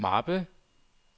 mappe